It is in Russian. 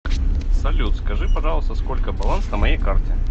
салют скажи пожалуйста сколько баланс на моей карте